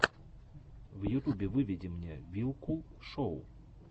в ютубе выведи мне вилкул шоу